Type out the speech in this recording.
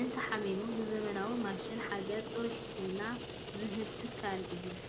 እንተሓሚሙ ብዘመናዊ ማሽናት ሓገዝ ፅሩይ ሕክምና ዝህቡ ትካል እዮም ።